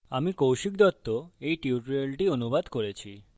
আমি কৌশিক দত্ত এই টিউটোরিয়ালটি অনুবাদ করেছি